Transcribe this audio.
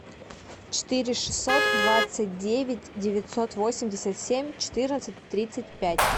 четыре шестьсот двадцать девять девятьсот восемьдесят семь четырнадцать тридцать пять